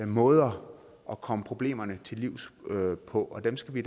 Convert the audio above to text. måder at komme problemerne til livs på og dem skal vi